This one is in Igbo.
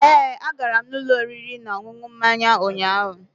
Ee, agara m ụlọ oriri na ọṅụṅụ mmanya ụnyaahụ.